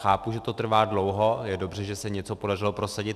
Chápu, že to trvá dlouho, je dobře, že se něco podařilo prosadit.